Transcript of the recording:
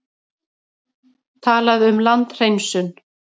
Talaði um landhreinsun.